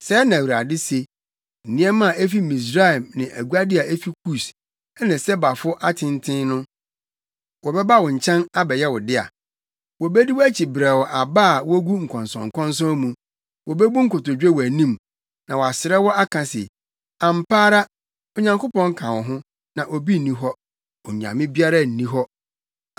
Sɛɛ na Awurade se: “Nneɛma a efi Misraim ne aguade a efi Kus, ne Sebafo atenten no, wɔbɛba wo nkyɛn abɛyɛ wo dea; wobedi wʼakyi brɛoo aba a wogu nkɔnsɔnkɔnsɔn mu. Wobebu nkotodwe wʼanim na wɔasrɛ wo aka se, ‘Ampa ara, Onyankopɔn ka wo ho, na obi nni hɔ; onyame biara nni hɔ.’ ”